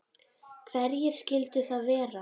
Hverjir skyldu það vera?